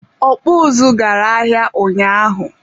ọkpụ ụzụ gara ahịa ụnyaahụ.